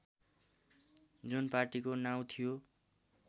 जुन पार्टीको नाउँ थियो